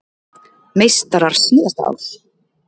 Meistarar síðasta árs